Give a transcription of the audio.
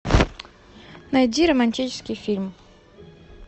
найди романтический фильм